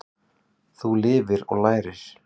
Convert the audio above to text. Þú lifir og lærir.